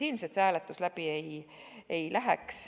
Ilmselt see hääletus aga läbi ei läheks.